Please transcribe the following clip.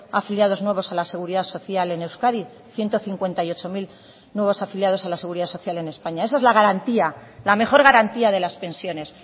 afiliados nuevos a la seguridad social en euskadi ciento cincuenta y ocho mil nuevos afiliados a la seguridad social en españa esa es la garantía la mejor garantía de las pensiones